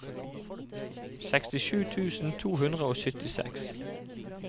sekstisju tusen to hundre og syttiseks